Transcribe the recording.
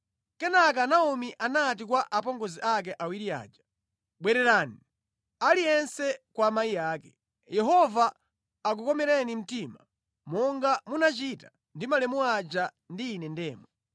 Kenaka Naomi anati kwa apongozi ake awiri aja, “Bwererani, aliyense kwa amayi ake. Yehova akukomereni mtima, monga munachita ndi malemu aja ndi ine ndemwe.